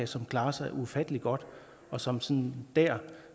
som klarer sig ufattelig godt og som som dér